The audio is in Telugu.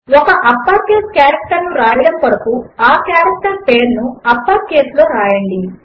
ఒక అప్పర్ కేస్ కారెక్టర్ ను వ్రాయడము కొరకు ఆ కారెక్టర్ పేరు ను అప్పర్ కేస్ లో వ్రాయండి